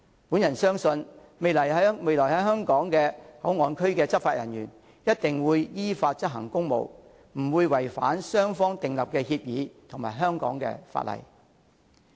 我相信未來在香港內地口岸區執法的人員一定會依法執行公務，不會違反雙方訂立的協議及香港的法例。